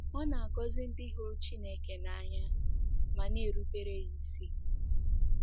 Ọ na-agọzi ndị hụrụ Chineke n’anya ma na-erubere ya isi.